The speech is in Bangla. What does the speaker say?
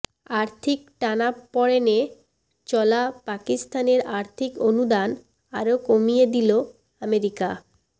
আর্থিক টানাপোড়েনে চলা পাকিস্তানের আর্থিক অনুদান আরও কমিয়ে দিল আমেরিকা